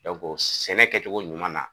sɛnɛ kɛcogo ɲuman na